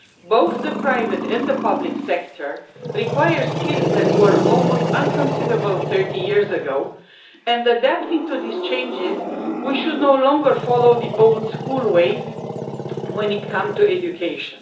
Both the private and the public sector require skills that were almost unconceivable 30 years ago, and in adapting to these changes we should no longer follow old school ways when it comes to education.